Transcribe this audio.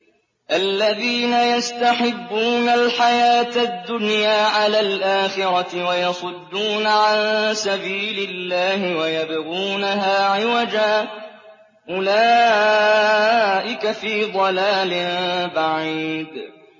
الَّذِينَ يَسْتَحِبُّونَ الْحَيَاةَ الدُّنْيَا عَلَى الْآخِرَةِ وَيَصُدُّونَ عَن سَبِيلِ اللَّهِ وَيَبْغُونَهَا عِوَجًا ۚ أُولَٰئِكَ فِي ضَلَالٍ بَعِيدٍ